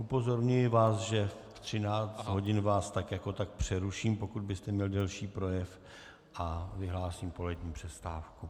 Upozorňuji vás, že ve 13 hodin vás tak jako tak přeruším, pokud byste měl delší projev, a vyhlásím polední přestávku.